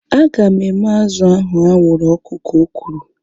Aga m eme azụ ahu anwụrụ ọkụ ka o kwuru